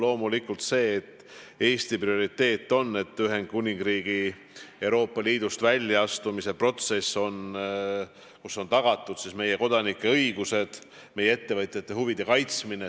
Loomulikult on Eesti prioriteet, et Ühendkuningriigi Euroopa Liidust väljaastumise protsessis on tagatud meie kodanike õigused, et meie ettevõtjate huvid on kaitstud.